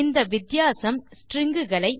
இந்த வித்தியாசம் ஸ்ட்ரிங் களை